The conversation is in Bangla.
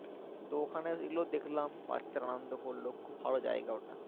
তো ওখানে এগুলো দেখলাম বাচ্চারা অনন্দ করলো খুব ভালো জায়গা ওটা